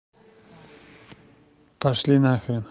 пошли нахрен